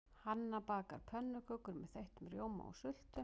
Hanna bakar pönnukökur með þeyttum rjóma og sultu.